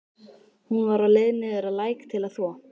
Hún var á leið niður að læk til að þvo.